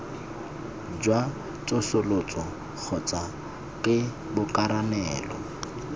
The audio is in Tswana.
jwa tsosoloso kgotsa ke borakanelo